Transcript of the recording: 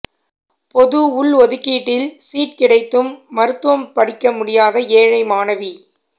பொது உள்ஒதுக்கீட்டில் சீட் கிடைத்தும் மருத்துவம் படிக்க முடியாத ஏழை மாணவி